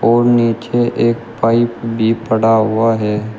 और नीचे एक पाइप भी पड़ा हुआ है।